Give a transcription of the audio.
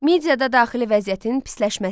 Midiyada daxili vəziyyətin pisləşməsi.